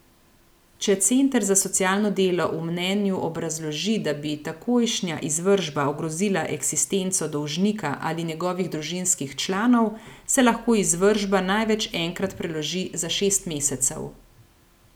Če center za socialno delo v mnenju obrazloži, da bi takojšnja izvršba ogrozila eksistenco dolžnika ali njegovih družinskih članov, se lahko izvršba največ enkrat preloži za šest mesecev.